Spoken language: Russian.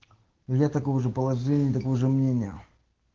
я такого же положения и такого же мнения